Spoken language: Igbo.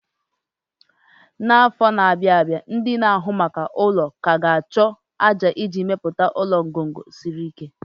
n'afọ ndị na-abịa, ndị na-ahụ maka ụlọ ka ga-achọ ájá iji mepụta ngọngọ ụlọ siri ike.